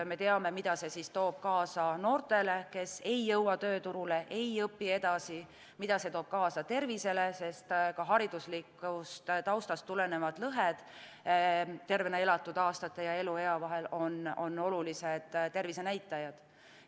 Me teame, mida see toob kaasa noortele, kes ei jõua tööturule, ei õpi edasi, mida see toob kaasa tervisele, sest ka hariduslikust taustast tulenevad lõhed tervena elatud aastate ja eluea vahel on olulised tervisenäitajad.